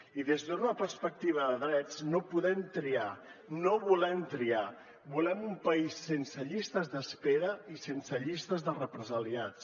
i des d’una perspectiva de drets no podem triar no volem triar volem un país sense llistes d’espera i sense llistes de represaliats